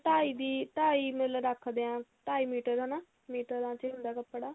ਢਾਈ ਦੀ ਢਾਈ ਮਤਲਬ ਰੱਖਦੇ ਆਂ ਢਾਈ ਮੀਟਰ ਹਨਾ ਮੀਟਰਾਂ ਚ ਹੀ ਹੁੰਦਾ ਕੱਪੜਾ